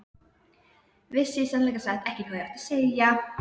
Vissi í sannleika sagt ekki hvað ég átti að segja.